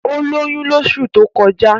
Ó lóyún lóṣù tó kọjá